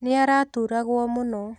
Nĩ araturagwo mũno.